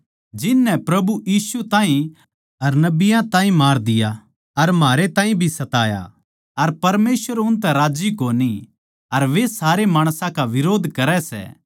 जिन नै प्रभु यीशु ताहीं अर नबियाँ ताहीं मार दिया अर म्हारै ताहीं भी सताया अर परमेसवर उनतै राज्जी कोनी अर वे सारे माणसां का बिरोध करै सै